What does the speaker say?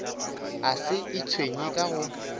a se itshwenye ka go